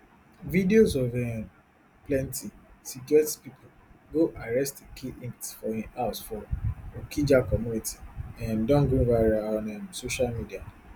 videos of wen plenty security pipo go arrest eke hit for im house for okija community um don go viral on um social media